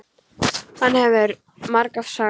Það hefur þú margoft sagt.